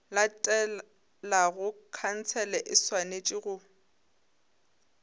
latelago khansele e swanetše go